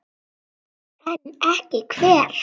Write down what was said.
En ekki hver?